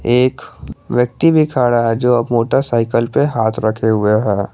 एक व्यक्ति भी खड़ा है जो मोटरसाइकिल पे हाथ रखे हुए हैं।